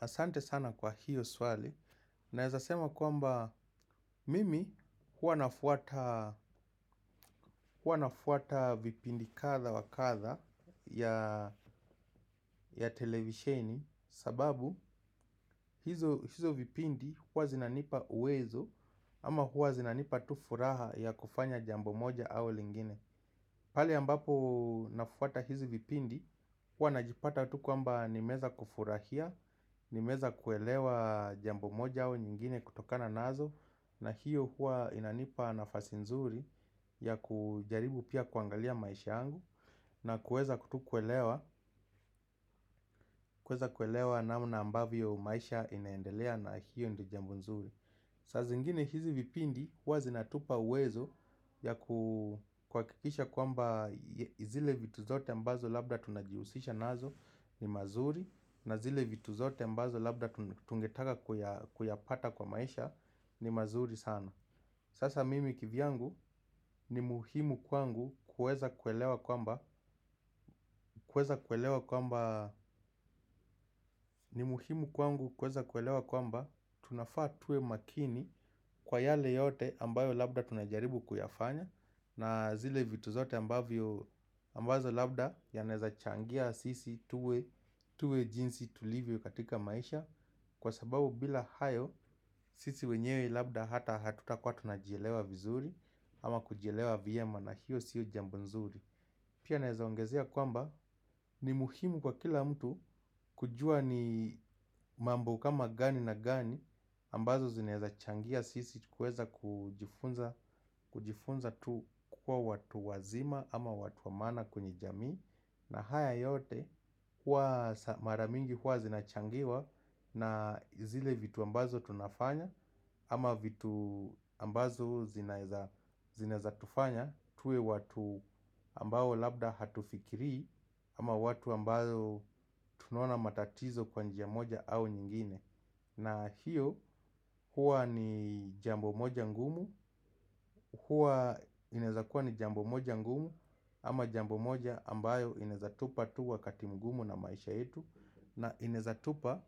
Asante sana kwa hiyo swali. Naezasema kwamba mimi hua nafuata vipindi kadha wa kadha ya televisheni. Sababu hizo vipindi hua zinanipa uwezo ama hua zinanipa tu furaha ya kufanya jambo moja au lingine. Pahali ambapo nafuata hizi vipindi hua najipata tu kwamba nimeweza kufurahia. Nimeweza kuelewa jambo moja au nyingine kutokana nazo. Na hiyo huwa inanipa nafasi nzuri ya kujaribu pia kuangalia maisha yangu. Na kuweza tu kuelewa namna ambavyo maisha inaendelea na hiyo ndio jambo nzuri. Sazingine hizi vipindi huwa zinatupa uwezo ya kuhakikisha kwamba zile vitu zote ambazo labda tunajihusisha nazo ni mazuri. Na zile vitu zote mbazo labda tungetaka kuyapata kwa maisha ni mazuri sana. Sasa mimi kivyangu ni muhimu kwangu kueza kuelewa kwamba kueza kuelewa kwamba ni muhimu kwangu kueza kuelewa kwamba tunafaa tuwe makini kwa yale yote ambayo labda tunajaribu kuyafanya. Na zile vitu zote ambazo labda yanezachangia sisi tuwe jinsi tulivyo katika maisha. Kwa sababu bila hayo sisi wenyewe labda hata hatutakuwa tunajielewa vizuri. Ama kujielewa vyema na hiyo sio jambo nzuri. Pia naeza ongezea kwamba ni muhimu kwa kila mtu kujua ni mambo kama gani na gani ambazo zinaeza changia sisi kuweza kujifunza tu kukuwa watu wazima ama watu wa maana kwenye jamii. Na haya yote huwa mara mingi huwa zinachangiwa na zile vitu ambazo tunafanya. Ama vitu ambazo zinaeza tufanya tuwe watu ambao labda hatufikiri. Ama watu ambao tunonaona matatizo kwa njia moja au nyingine. Na hiyo huwa ni jambo moja ngumu. Hua inaeza kuwa ni jambo moja ngumu. Ama jambo moja ambayo inaeza tupa tu wakati mgumu na maisha yetu. Na inaeza tupa,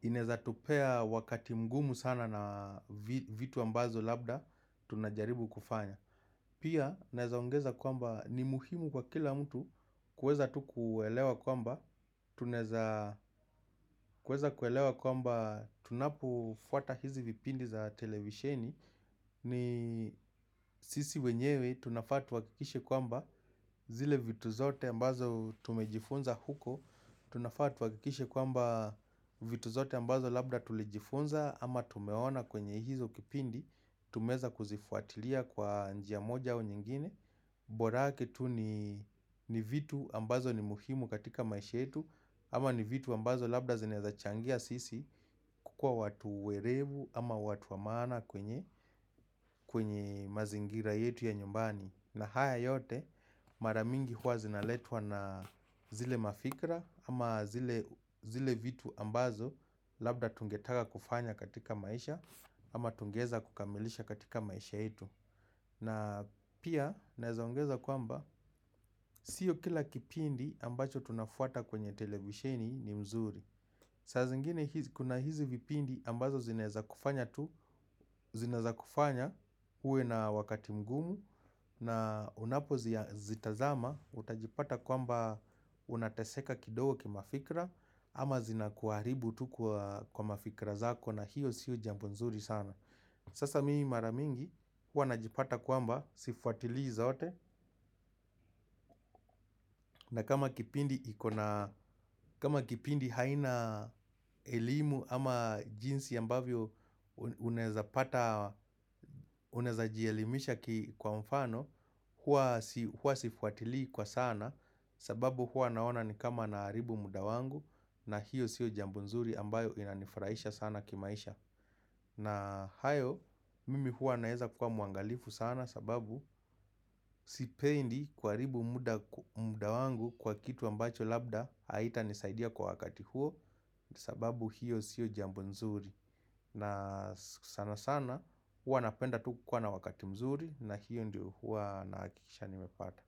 ineza tupea wakati mgumu sana na vitu ambazo labda tunajaribu kufanya. Pia, inaaezaongeza kwamba ni muhimu kwa kila mtu. Kuweza tu kuelewa kwamba tunaeza kuweza kuelewa kwamba tunapo fuata hizi vipindi za televisheni ni sisi wenyewe tunafaa tu hakikishe kwamba zile vitu zote ambazo tumejifunza huko. Tunafaa tu hakikishe kwamba vitu zote ambazo labda tulijifunza ama tumeona kwenye hizo kipindi. Tumeweza kuzifuatilia kwa njia moja au nyingine. Borake tu ni vitu ambazo ni muhimu katika maisha yetu ama ni vitu ambazo labda zinaeza changia sisi kukuwa watu werevu ama watu wa maana kwenye kwenye mazingira yetu ya nyumbani. Na haya yote maramingi huwa zinaletwa na zile mafikra ama zile vitu ambazo labda tungetaka kufanya katika maisha. Ama tungeweza kukamilisha katika maisha yetu. Na pia naezongeza kwamba sio kila kipindi ambacho tunafuata kwenye televisheni ni mzuri. Sazingine kuna hizi vipindi ambazo zineza kufanya tu, zinaeza kufanya uwe na wakati mgumu na unapo zitazama utajipata kwamba unateseka kidogo kimafikra ama zinakuaribu tu kwa mafikra zako na hiyo siyo jambo nzuri sana. Sasa mimi maramingi hua najipata kwamba sifuatili zote na kama kipindi haina elimu ama jinsi ambavyo unaeza jielimisha kwa mfano hua sifuatili kwa sana sababu hua naona ni kama naharibu muda wangu na hiyo siyo jambo nzuri ambayo inanifurahisha sana kimaisha. Na hayo mimi hua naeza kukua mwangalifu sana sababu sipendi kuharibu muda wangu kwa kitu ambacho labda haitanisaidia kwa wakati huo. Sababu hiyo sio jambo nzuri na sana sana hua napenda tu kukua na wakati mzuri na hiyo ndio hua nahakikisha nimepata.